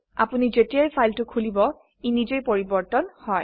আপোনি যেতিয়াই ফাইলটি খুলিব ই নিজেই পৰিবৰ্তন হয়